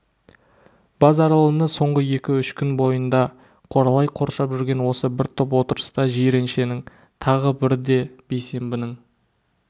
базаралыны соңғы екі-үш күн бойында қоралай қоршап жүрген осы топ бір отырыста жиреншенің тағы бірде бейсенбінің